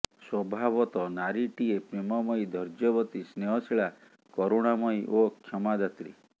ସ୍ୱାଭାବତଃ ନାରୀଟିଏ ପ୍ରେମମୟୀ ଧୈର୍ଯ୍ୟବତୀ ସ୍ନେହଶୀଳା କରୁଣାମୟୀ ଓ କ୍ଷମାଦାତ୍ରୀ